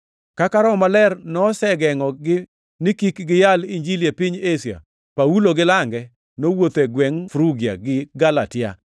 Kaka Roho Maler nosegengʼogi ni kik giyal Injili e piny Asia, Paulo gi lange nowuotho e gwengʼ Frugia gi Galatia.